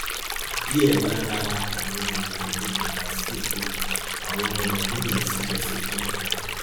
díẹ lára àwọn arìnrìnàjò padà sí èkó àwọn míì sì lọ sí kánò